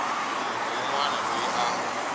munhu wun wana loyi a